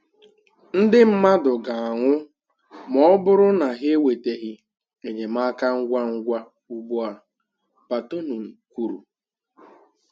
Ndị mmadụ ga-anwụ ma ọ bụrụ na ha enwetaghị enyemaka ngwa ngwa ugbu a, Batonon kwuru